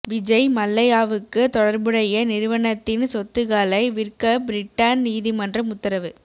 விஜய் மல்லையாவுக்கு தொடா்புடைய நிறுவனத்தின் சொத்துகளை விற்க பிரிட்டன் நீதிமன்றம் உத்தரவு